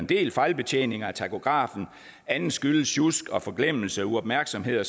del fejlbetjeninger af takografen andet skyldes sjusk forglemmelse uopmærksomhed